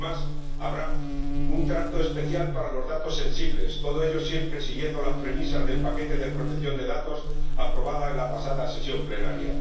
Además, habrá un trato especial para los datos sensibles, todo ello siempre siguiendo las premisas del paquete de protección de datos, aprobado en la pasada sesión plenaria.